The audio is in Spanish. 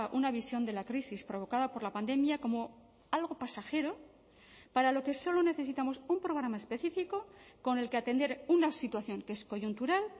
una visión de la crisis provocada por la pandemia como algo pasajero para lo que solo necesitamos un programa específico con el que atender una situación que es coyuntural